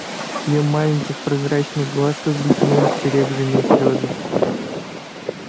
в её маленьких прозрачных глазках блеснули серебряные слёзы